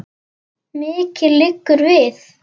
Mikið liggur við!